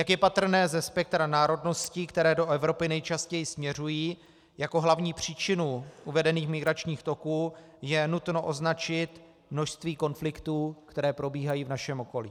Jak je patrné ze spektra národností, které do Evropy nejčastěji směřují, jako hlavní příčinu uvedených migračních toků je nutno označit množství konfliktů, které probíhají v našem okolí.